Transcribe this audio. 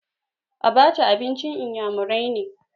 Abaca abincin iyamurai ne.